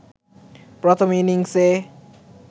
প্রথম ইনিংসে